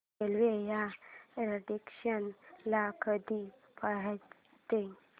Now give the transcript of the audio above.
railway या station ला कधी पोहचते